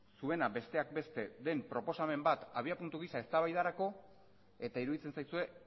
zuena besteak beste den proposamen bat abiapuntu gisa eztabaidarako eta iruditzen zaizue